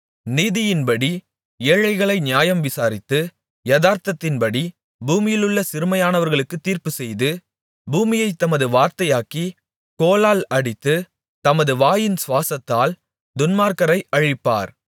நீதியின்படி ஏழைகளை நியாயம்விசாரித்து யதார்த்தத்தின்படி பூமியிலுள்ள சிறுமையானவர்களுக்குத் தீர்ப்புச்செய்து பூமியைத் தமது வார்த்தையாகிய கோலால் அடித்து தமது வாயின் சுவாசத்தால் துன்மார்க்கரை அழிப்பார்